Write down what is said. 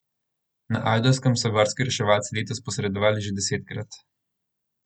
Na Ajdovskem so gorski reševalci letos posredovali že desetkrat.